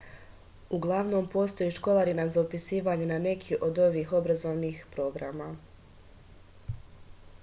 uglavnom postoji školarina za upisivanje na neki od ovih obrazovnih programa